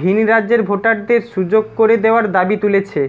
ভিন্ রাজ্যের ভোটারদের সুযোগ করে দেওয়ার দাবি তুলেছে